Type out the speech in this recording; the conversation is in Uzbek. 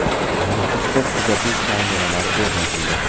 Nukusda kuzatuv kameralari o‘rnatildi.